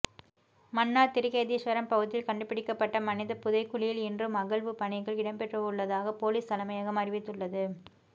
மன்னார் திருக்கேதீஸ்வரம் பகுதியில் கண்டுபிடிக்கப்பட்ட மனித புதைக்குழியில் இன்றும் அகழ்வுப் பணிகள் இடம்பெறவுள்ளதாக பொலிஸ் தலைமையகம் அறிவித்துள்ளது